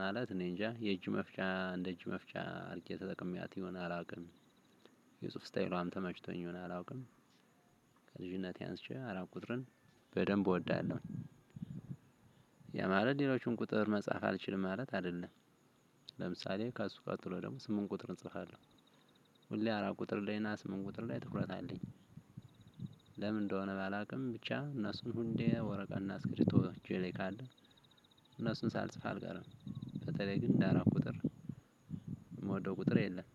ማለት እኔ እንጃ የእጅመፍቻ እንደ እጅ መፍቻ አድርጌ ተጠቅሜት ይሆናል አላውቅም። የጽሁፍ ስታየሏ ተመችቶኝ ይሆናል አላቅም። ከልጅነቴ አንስቼ አራት ቁጥርን በደንብ ወዳለው። ያ ማለት ሌሎቹን ቁጥር መጻፍ አልችልም ማለት አይደለም። ለምሳሌ ከእሱ ቀጥሎ ደግሞ ስምንት ቁጥር እጽፋለሁ። ሁሌ አራት ቁጥር ላይ እና ስምንት ቁጥር ላይ ትኩረት አለኝ። ለምን እንደሆነ ባላውቅም ብቻ እነሱን ሁንዴ ወረቀትና አስክሪፕቶ እጄ ላይ ካለ እነሱን ሳልጽፍ አልቀረም። በተለይ ግን እንደ አራት ቁጥር የምወደው ቁጥር የለም።